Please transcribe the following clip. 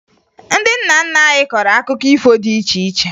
Ndị nna nna anyị kọrọ akụkọ ifo dị iche iche